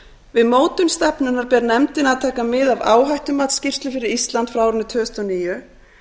við mótun stefnunnar ber nefndinni að taka mið af áhættumatsskýrslu fyrir ísland frá árinu tvö þúsund og níu